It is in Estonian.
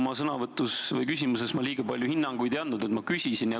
Oma sõnavõtus või küsimuses ma liiga palju hinnanguid ei andnud, ma küsisin.